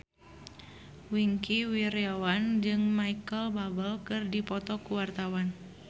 Wingky Wiryawan jeung Micheal Bubble keur dipoto ku wartawan